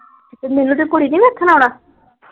ਤੇ ਮੀਨੁ ਦੀ ਕੁੜੀ ਨੀ ਵੇਖਣ ਆਉਣਾ।